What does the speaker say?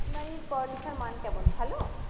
primary র পড়ালেখার মান কেমন ভালো